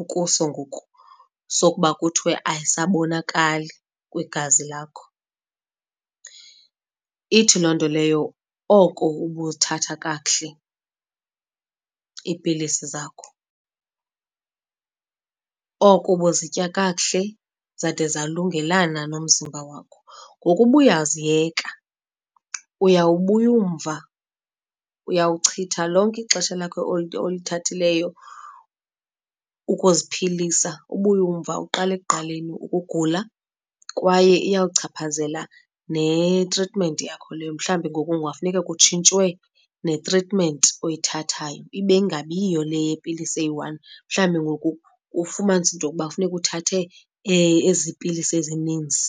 ukuso ngoku sokuba kuthiwe ayisabonakali kwigazi lakho, ithi loo nto leyo oko ubuthatha kakuhle iipilisi zakho. Oko ubuzitya kakuhle zade zalungelana nomzimba wakho. Ngoku uba uyaziyeka uyawubuya umva, uyawuchitha lonke ixesha lakho olithathileyo ukuziphilisa, ubuye umva uqale ekuqaleni ukugula kwaye iya kuchaphazela netritimenti yakho leyo. Mhlawumbi ngoku kungafuneka kutshintshwe netritimenti oyithathayo ibe ingabiyiyo le yepilisi eyi-one. Mhlawumbi ngoku kufumanise into yokuba kufuneka uthathe ezi pilisi ezininzi.